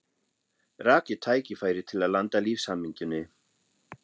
Rakið tækifæri til að landa lífshamingjunni.